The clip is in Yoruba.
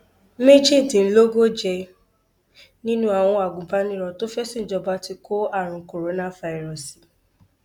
méjìdínlógóje nínú àwọn agùnbánirò tó fẹẹ ṣìnjọba ti kó àrùn kórofàírósì